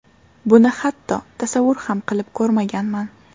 Buni hatto tasavvur ham qilib ko‘rmaganman.